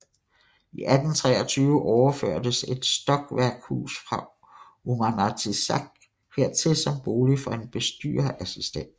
I 1823 overførtes et stokværkshus fra Uummanatsiaq hertil som bolig for en bestyrerassistent